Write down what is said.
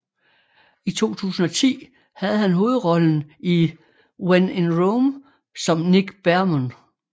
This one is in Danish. I 2010 havde han hovedrollen i When in Rome som Nick Beamon